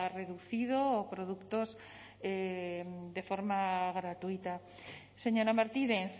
reducido o productos de forma gratuita señora martínez